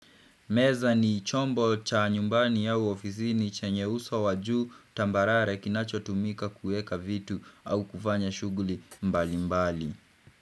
Meza ni chombo cha nyumbani au ofisini chanye uso wa juu tambarare kinachotumika kuweka vitu au kufanya shughuli mbalimbali.